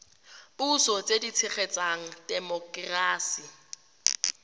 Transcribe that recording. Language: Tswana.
puso tse di tshegetsang temokerasi